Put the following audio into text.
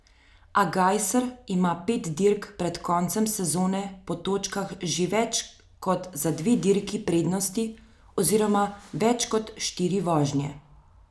A Gajser ima pet dirk pred koncem sezone po točkah že več kot za dve dirki prednosti oziroma več kot štiri vožnje.